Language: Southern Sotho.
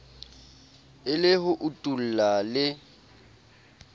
e le ho utulla le